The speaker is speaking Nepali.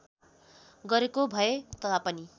गरेको भए तापनि